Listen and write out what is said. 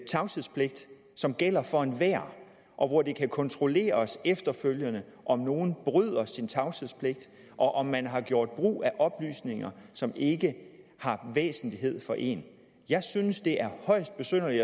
tavshedspligt som gælder for enhver og hvor det kan kontrolleres efterfølgende om nogen bryder sin tavshedspligt og om man har gjort brug af oplysninger som ikke har væsentlighed for en jeg synes det er højst besynderligt